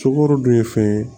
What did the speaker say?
Sukaro dun ye fɛn ye